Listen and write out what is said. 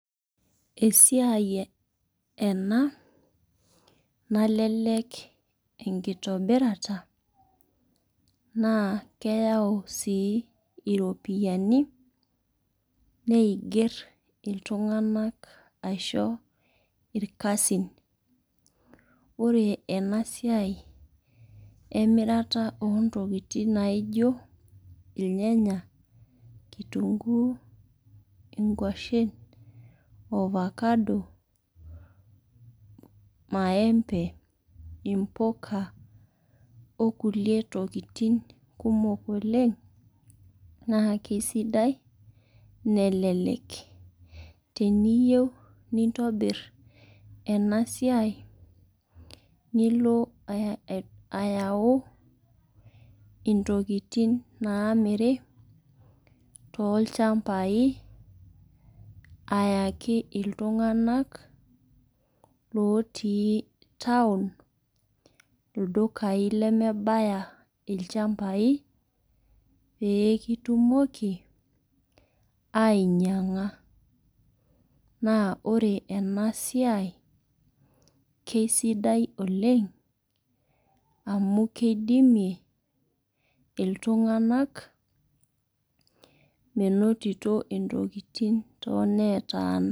Esiai ena nalelek enkitobirata naa keyau sii iropiani neiger iltung'ana asho irkasin. Ore ena siai ee mirata oo ntokitin naijo irnyanya, kitunguu inkuashen, ovacado , maembe imbuka oo kulie tokitin kumok oleng' naa kisidai nelelek. Teniyeu nintobir ena siai nilo ayau intokitin naamiri too ilchambai ayaki iltung'ana looti town ildukai lemebaya ilchambai pee kitumoki ainyang'a naa ore ena siai keisidai oleng' amu kidimie iltung'ana menotito intokitin too netaana.